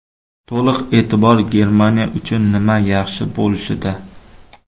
To‘liq e’tibor Germaniya uchun nima yaxshi bo‘lishida.